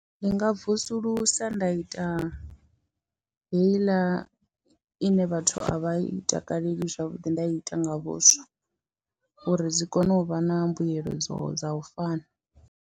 Ndi nga vusulusa nda ita heiḽa ine vhathu a vha i takaleli zwavhuḓi ndai ita nga vhuswa uri dzi kone u vha na mbuyelo dza u fana.